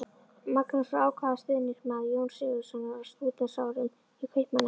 Magnús var ákafur stuðningsmaður Jóns Sigurðssonar á stúdentsárum í Kaupmannahöfn.